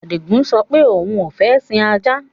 Adígun sọ pé òun ó fẹ sìn ajá.